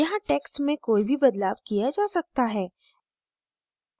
यहाँ text में कोई भी बदलाव किया जा सकता है